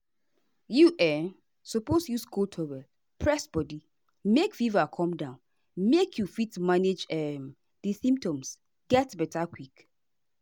you um suppose use cold towel press body make fever come down make you fit manage um di symptoms get beta quick.